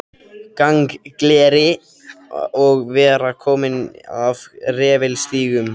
Gangleri og vera kominn af refilstígum.